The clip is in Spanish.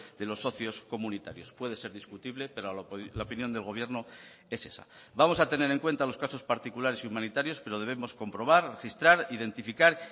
de los socios comunitarios puede ser discutible pero la opinión del gobierno es esa vamos a tener en cuenta los casos particulares y humanitarios pero debemos comprobar registrar identificar